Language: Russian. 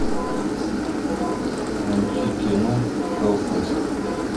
найти кино хэллфест